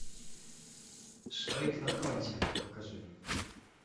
швейк на фронте покажи